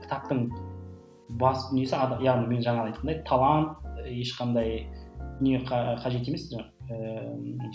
кітаптың басты дүниесі яғни мен жаңағы айтқандай талант ешқандай не қажет емес ыыы